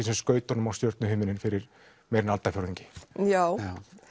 sem skaut honum á stjörnuhimininn fyrir meira en aldarfjórðungi já